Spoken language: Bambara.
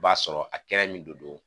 B'a sɔrɔ a kɛnɛ min de don